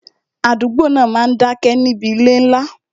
Àdúgbò náà máa dá ké níbi ilé ńlá